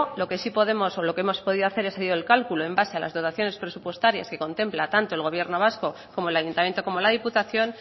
lo que sí podemos o lo que hemos podido hacer es el cálculo en base a las dotaciones presupuestarias que contempla tanto el gobierno vasco como el ayuntamiento como la diputación